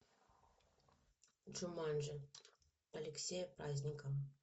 джуманджи алексея праздникова